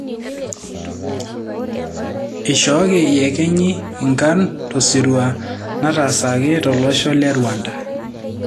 Ishooki yekenyi nkarn tosirua natasaki tolosho le Rwanda.